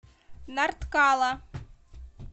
нарткала